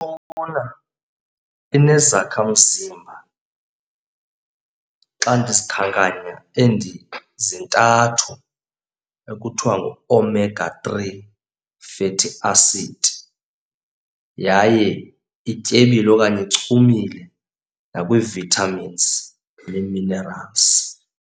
inezakhamzimba. Xa ndizikhankanya zintathu ekuthiwa nguOmega-three fatty acid, yaye ityebile okanye ichumile nakwii-vitamins nee-minerals.